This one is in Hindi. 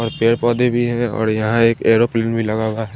और पेड़ पोधे भी हैं और यहाँ एक एरोप्लेन भी लगा हुआ है।